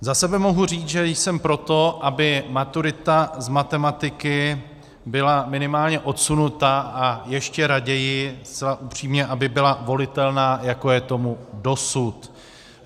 Za sebe mohu říct, že jsem pro to, aby maturita z matematiky byla minimálně odsunuta, a ještě raději, zcela upřímně, aby byla volitelná, jako je tomu dosud.